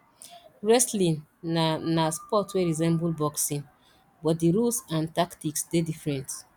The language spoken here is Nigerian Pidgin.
wrestling na na sport wey resemble boxing but di rules and tactics dey different